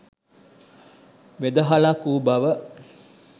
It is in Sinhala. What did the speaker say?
වෙදහලක් වූ බව